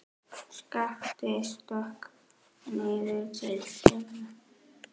Skapti stökk niður til þeirra.